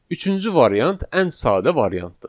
Üçüncü variant ən sadə variantdır.